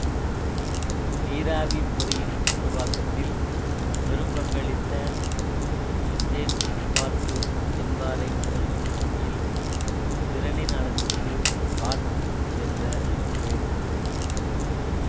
நீராவிப் பொறியின் உருவாக்கத்தில் பெரும்பங்களித்த ஜேம்ஸ் வாட்டு என்பாரைச் சிறப்பிக்கும் வகையில் திறனின் அலகுக்கு வாட் என்ற பெயரிட்டனர்